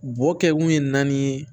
Bo kɛkun ye naani ye